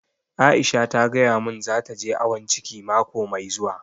Aisha ta gaya mun za ta je awon ciki mako mai zuwa